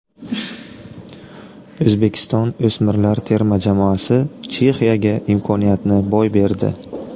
O‘zbekiston o‘smirlar terma jamoasi Chexiyaga imkoniyatni boy berdi.